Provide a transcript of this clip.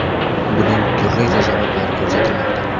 Buning turlicha sabablari ko‘rsatilmoqda.